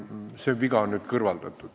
See viga on nüüd kõrvaldatud.